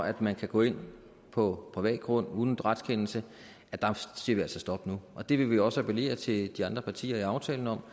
at man kan gå ind på privat grund uden retskendelse siger vi altså stop nu og det vil vi også appellere til de andre partier i aftalen om